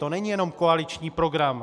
To není jenom koaliční program.